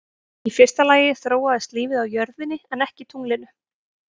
Í fyrsta lagi þróaðist lífið á jörðinni en ekki tunglinu.